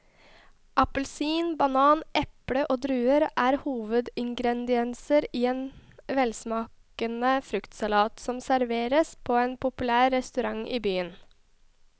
Appelsin, banan, eple og druer er hovedingredienser i en velsmakende fruktsalat som serveres på en populær restaurant i byen.